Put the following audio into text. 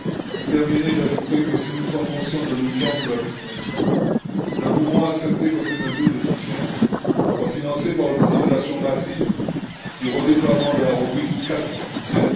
Pour terminer, j'ajouterai que si nous sommes conscients de l'urgence de la situation, nous pouvons accepter que ces mesures de soutien soient financées par l'utilisation massive du redéploiement de la rubrique IV du budget.